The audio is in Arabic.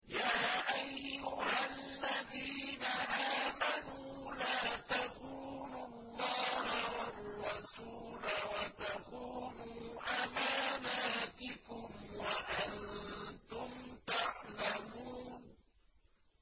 يَا أَيُّهَا الَّذِينَ آمَنُوا لَا تَخُونُوا اللَّهَ وَالرَّسُولَ وَتَخُونُوا أَمَانَاتِكُمْ وَأَنتُمْ تَعْلَمُونَ